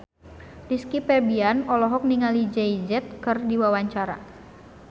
Rizky Febian olohok ningali Jay Z keur diwawancara